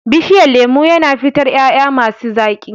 Bishiyan lemu yana fitar ƴaƴa masi zaƙi.